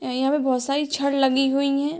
और यहाँ पे बहुत सारी छड़ लगी हुई हैं ।